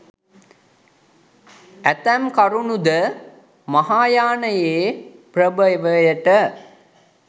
ඇතැම් කරුණු ද, මහායානයේ ප්‍රභවයට,